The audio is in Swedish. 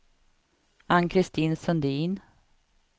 Ann-Christin Sundin